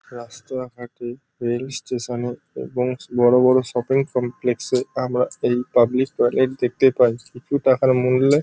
রাস্তা ঘাটে rail station -এ এবং বড় বড় শপিং কমপ্লেক্সে -এ আমরা এই পাবলিক টয়লেট দেখতে পাই। কিছু টাকার মূল্যে --